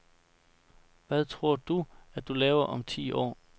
Hvad tror du, at du laver om ti år?